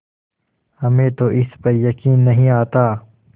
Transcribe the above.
हमें तो इस पर यकीन नहीं आता